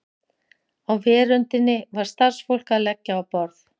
Á veröndinni var starfsfólk að leggja á borð.